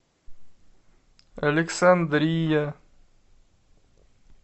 александрия